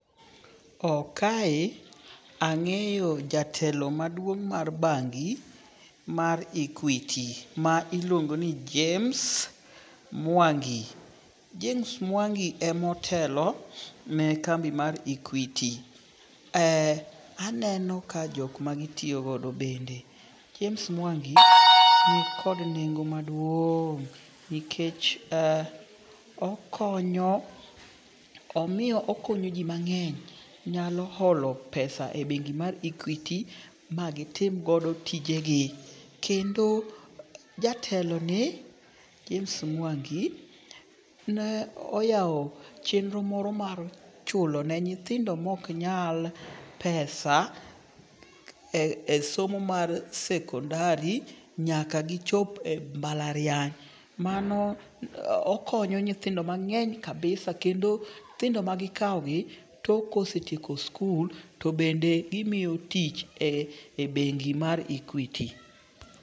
Kae ang'eyo jatelo maduong' mar bangi mar Equity ma iluongo ni James Mwangi. James Mwangi emotelo ne kambi mar Equity. Aneno ka jok magitiyo go bende, James Mwangi nikod nengo maduong' nikech okonyo, omiyo okonyo ji mang'eny nyalo holo pesa e bengi mar Equity ma gitim godo tijegi. Kendo jateloni, James Mwangi, ne oyawo chenro moro mar chulo ne nyithindo moknyal pesa e somo mar sekondar nyaka gichop e mbalariany, mano okonyo nyithindo mang'eny kabisa, kendo nyithindo ma gikawogi, tok kosetieko skul, to bende gimiyo tich e bengi mar Equity.